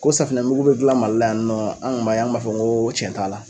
Ko safinɛ mugu bɛ dilan Mali la yan nɔ, an kun b'a ye, an kun b'a fɔ ko tiɲɛ t'a la.